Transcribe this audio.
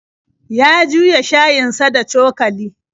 Ya juya shayinsa da cokali.